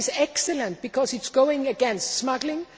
That is excellent because it works against smuggling.